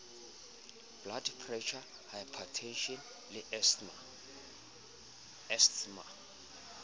blood pressure hypertension le asthma